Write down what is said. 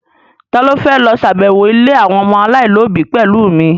Ta ló fẹ́ lọ ṣàbẹ̀wọ̀ ilé àwọn ọmọ aláìlóbi pẹ̀lú mi?